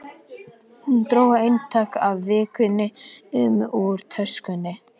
Hún dró eintak af Vikunni upp úr töskunni sinni.